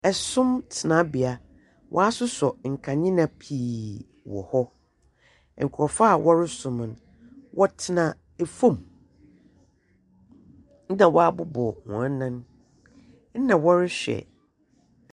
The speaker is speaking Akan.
Ɛsom mu tenabea, wɔasosɔ nkanea pii wɔ hɔ. Nkrɔfo a wɔresom no, wɔtena fam. Na wɔabobɔw wɔn nan na wɔrehwɛ.